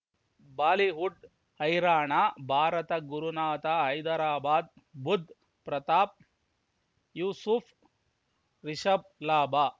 Bollywood ಹೈರಾಣ ಭಾರತ ಗುರುನಾಥ ಹೈದರಾಬಾದ್ ಬುಧ್ ಪ್ರತಾಪ್ ಯೂಸುಫ್ ರಿಷಬ್ ಲಾಭ